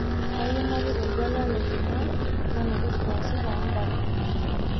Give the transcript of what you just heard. kayie napik oltuala le jumaa nalotu saa sita en'dama